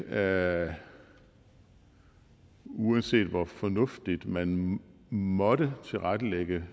er det uanset hvor fornuftigt man måtte tilrettelægge